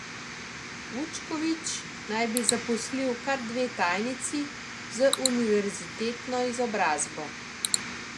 Vučković naj bi zaposlil kar dve tajnici z univerzitetno izobrazbo.